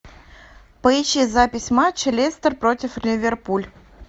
поищи запись матча лестер против ливерпуль